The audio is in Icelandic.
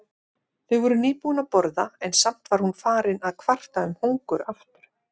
Þau voru nýbúin að borða en samt var hún farin að kvarta um hungur aftur.